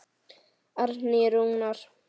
Árni Rúnar.